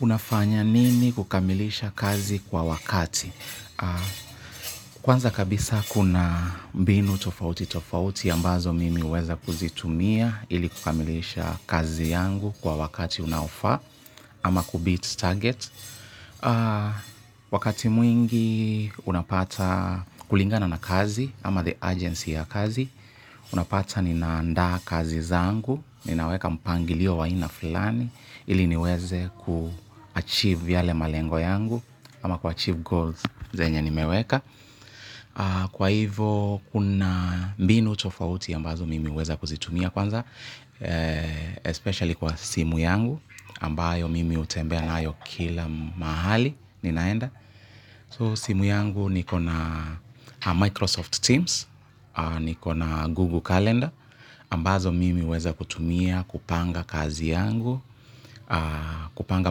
Unafanya nini kukamilisha kazi kwa wakati? Kwanza kabisa, kuna mbinu tofauti tofauti ambazo mimi huweza kuzitumia, ili kukamilisha kazi yangu kwa wakati unaofaa, ama kubit target. Wakati mwingi, unapata, kulingana na kazi ama the urgency ya kazi, unapata ninaandaa kazi zangu, ninaweka mpangilio wa aina flani, ili niweze kuachieve yale malengo yangu, ama kuachieve goals zenye ni meweka, kwa hivo kuna mbinu tofauti ambazo mimi huweza kuzitumia kwanza Especially kwa, simu yangu ambayo, mimi utembea nayo kila mahali, ninaenda. So simu yangu niko na Microsoft Teams. Nikona Google Calendar, ambazo mimi huweza kutumia, kupanga kazi yangu, kupanga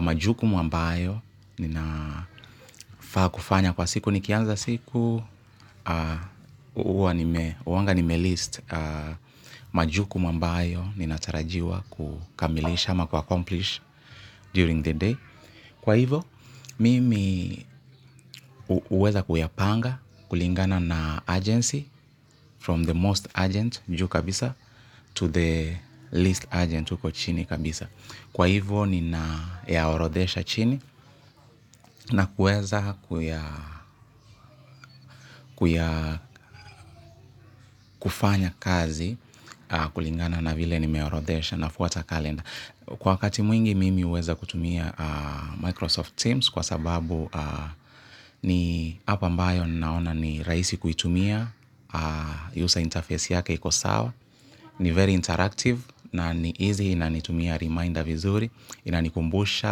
majukumu ambayo, ninafaa kufanya kwa siku nikianza siku, uwanga nime list majukumu ambayo, ninatarajiwa kukamilisha ama ku accomplish, during the day. Kwa hivo, mimi huweza kuyapanga, kulingana na urgency, from the most urgent juu kabisa to the least urgent uko chini kabisa. Kwa hivo, ninayaorodhesha chini, na kueza kufanya kazi, kulingana na vile nimeorodhesha na fuata kalenda. Kwa wakati mwingi mimi uweza kutumia, Microsoft Teams kwa sababu ni App ambayo naona ni raisi kuitumia, user interface yake iko sawa, ni very interactive na ni easy inanitumia reminder vizuri, inanikumbusha,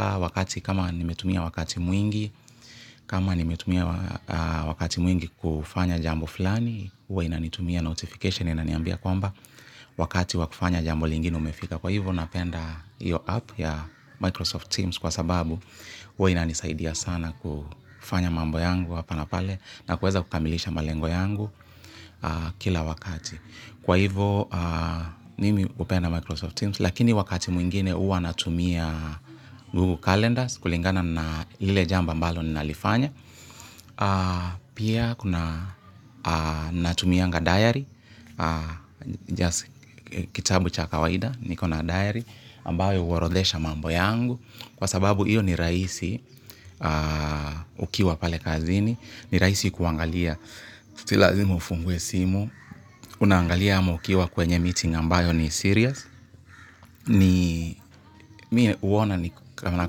wakati kama nimetumia wakati mwingi, kama nimetumia wakati mwingi kufanya jambo fulani, uwa inanitumia notification inaniambia kwamba, wakati wakufanya jambo lingine umefika. Kwa hivyo, napenda hiyo app, ya Microsoft Teams kwa sababu, huwa inanisaidia sana kufanya mambo yangu hapa na pale na kuweza kukamilisha malengo yangu, kila wakati. Kwa hivo, nimi upenda Microsoft Teams lakini wakati mwingine uwa natumia, Google Calendars, kulingana na, lile jambo ambalo ninalifanya. Pia, kuna natumianga diary, kitabu cha kawaida, nikona diary, ambayo uwarodesha mambo yangu, kwa sababu iyo ni raisi ukiwa pale kazini, ni raisi kuangalia si lazima ufungue simu. Unaangalia ama ukiwa kwenye meeting ambayo ni serious. Mie uona ni kama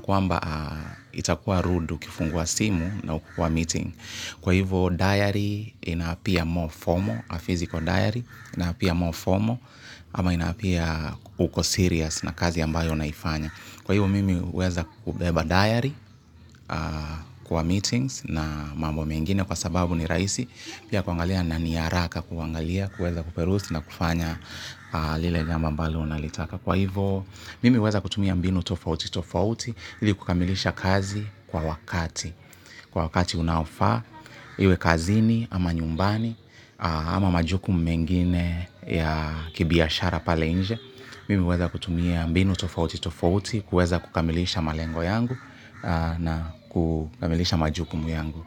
kuamba itakuwa rude ukifungua simu na uko kwa meeting. Kwa hivo, diary, ina apia, more formal, a physical diary inaapia more formal ama inaapia uko serious na kazi ambayo unaifanya. Kwa hivyo mimi huweza kubeba diary, kwa meetings na mambo mengine kwa sababu ni raisi pia kuangalia na ni haraka kuangalia, kuweza kuperus na kufanya lile jambo ambalo unalitaka. Kwa hivo, mimi huweza kutumia mbinu tofauti tofauti, ili kukamilisha kazi, kwa wakati. Kwa wakati unaofaa, iwe kazini, ama nyumbani, ama majukumu mengine ya kibiashara pale inje. Mimi huweza kutumia mbinu tofauti tofauti kuweza kukamilisha malengo yangu, na, kukamilisha majukumu yangu.